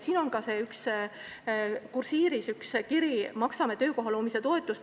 Siin on kursiivis kirjutatud, et me maksame töökoha loomise toetust.